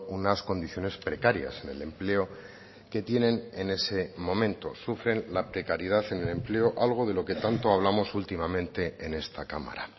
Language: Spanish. unas condiciones precarias en el empleo que tienen en ese momento sufren la precariedad en el empleo algo de lo que tanto hablamos últimamente en esta cámara